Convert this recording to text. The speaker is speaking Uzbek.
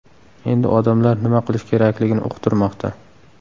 Endi odamlar nima qilish kerakligini uqtirmoqda.